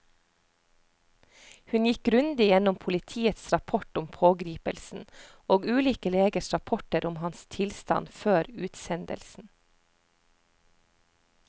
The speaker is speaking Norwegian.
Hun gikk grundig gjennom politiets rapport om pågripelsen og ulike legers rapporter om hans tilstand før utsendelsen.